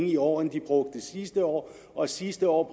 i år end de brugte sidste år og sidste år